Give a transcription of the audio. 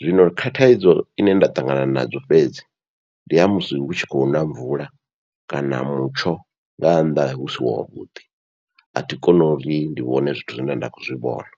Zwino kha thaidzo ine nda ṱangana nadzo fhedzi ndi ha musi hu tshi khou na mvula kana mutsho nga nnḓa hu si wavhuḓi, athi koni uri ndi vhone zwithu zwine nda khou zwi vhona.